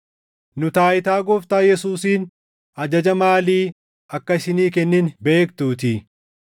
Nu taayitaa Gooftaa Yesuusiin ajaja maalii akka isinii kennine beektuutii.